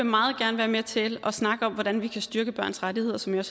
meget gerne være med til at snakke om hvordan vi kan styrke børns rettigheder som jeg